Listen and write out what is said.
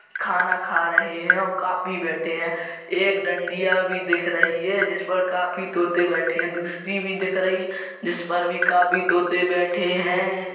खाना खा रहे हैं| काफी बैठे हैं| एक डँड़िया भी दिख रही है जिस पर काफी तोते बैठे हैं| दूसरी भी दिख रही है जिस पर भी कापी तोते बैठे हैं।